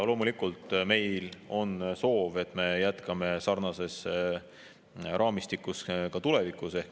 Loomulikult on meil soov, et me jätkame sarnases raamistikus ka tulevikus.